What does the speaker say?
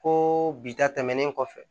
Ko bi ta tɛmɛnen kɔfɛ